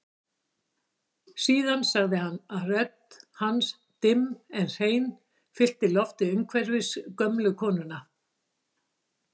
Síðan sagði hann og rödd hans dimm en hrein fyllti loftið umhverfis gömlu konuna